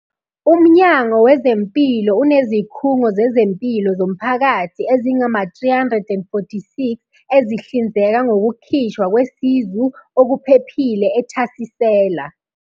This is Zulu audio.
UMnyango Wezempilo unezikhungo zezempilo zomphakathi ezingama-346 ezihlinzeka ngokukhishwa kwesizu okuphephile, ethasisela.